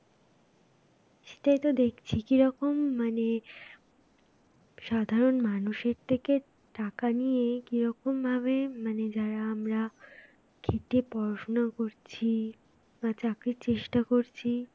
তাই তো দেখছি কি রকম মানে সাধারণ মানুষের থেকে টাকা নিয়ে কি রকম ভাবে মানে যারা আমরা খেটে পড়াশোনা করছি বা চাকরির চেষ্টা করছি